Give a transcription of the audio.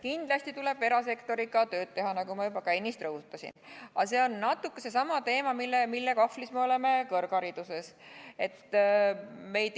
Kindlasti tuleb erasektoriga tööd teha, nagu ma juba ennist rõhutasin, aga see on natuke seesama teema, mille kahvlis me oleme kõrghariduses.